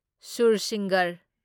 ꯁꯨꯔꯁꯤꯡꯒꯔ